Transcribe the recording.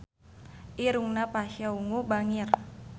Irungna Pasha Ungu bangir